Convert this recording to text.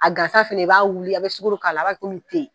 A gansa fana i b'a wuli a bɛ k'a la a b'a kɛ komi te.